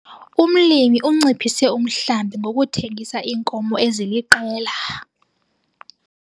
Umlimi unciphise umhlambi ngokuthengisa iinkomo eziliqela.